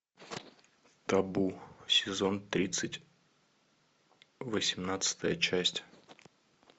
табу сезон тридцать восемнадцатая часть